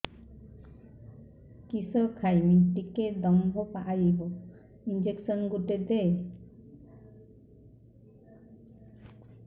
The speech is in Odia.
କିସ ଖାଇମି ଟିକେ ଦମ୍ଭ ଆଇବ ଇଞ୍ଜେକସନ ଗୁଟେ ଦେ